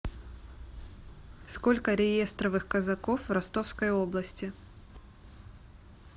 сколько реестровых казаков в ростовской области